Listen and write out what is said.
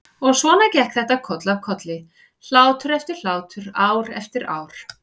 Og svona gekk þetta koll af kolli, hlátur eftir hlátur, ár eftir ár.